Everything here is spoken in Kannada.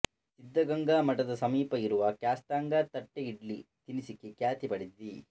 ಸಿದ್ಧಗಂಗಾ ಮಠದ ಸಮೀಪ ಇರುವ ಕ್ಯಾತ್ಸಂದ್ರ ತಟ್ಟೆಇಡ್ಲಿ ತಿನಿಸಿಗೆ ಖ್ಯಾತಿ ಪಡೆದಿದೆ